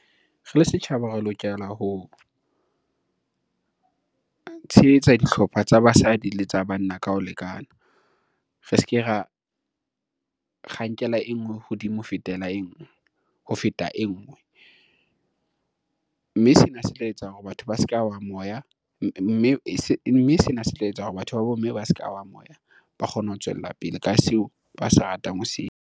Re le setjhaba re lokela ho, tshehetsa dihlopha tsa basadi le tsa banna ka ho lekana. Re se ke ra, nkela e ngwe hodimo ho feta e ngwe, mme sena se tla etsa hore batho ba bomme ba se ka wa moya ba kgone ho tswella pele ka seo ba se ratang ho se .